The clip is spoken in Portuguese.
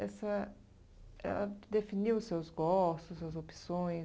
Essa ela definiu seus gostos, suas opções?